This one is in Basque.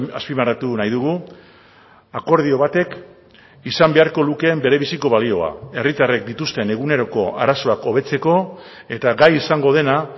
azpimarratu nahi dugu akordio batek izan beharko lukeen bere biziko balioa herritarrek dituzten eguneroko arazoak hobetzeko eta gai izango dena